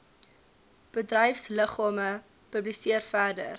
bedryfsliggame publiseer verder